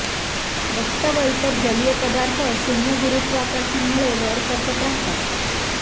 रक्त व इतर जलीय पदार्थ शून्य गुरुत्वाकर्षणामुळे वर सरकत राहतात